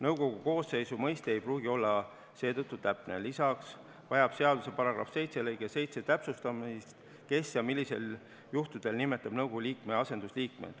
Nõukogu koosseisu mõiste ei pruugi olla seetõttu täpne, lisaks vajab seaduse § 7 lõikes 7 täpsustamist, kes ja millistel juhtudel nimetab nõukogu liikmete asendusliikmeid.